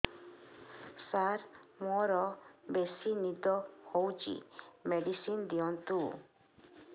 ସାର ମୋରୋ ବେସି ନିଦ ହଉଚି ମେଡିସିନ ଦିଅନ୍ତୁ